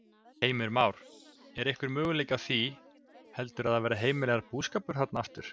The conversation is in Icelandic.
Heimir Már: Er einhver möguleiki á því heldurðu að það verði heimilaður búskapur þarna aftur?